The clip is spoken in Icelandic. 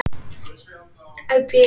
Vonandi ganga þau áform eftir.